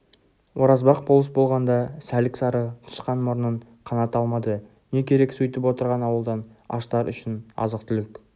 оразбақ болыс болғанда сәлік-сары тышқан мұрнын қаната алмады не керек сөйтіп отырған ауылдан аштар үшін азық-түлік